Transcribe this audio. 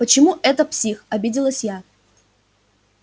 почему это псих обиделась я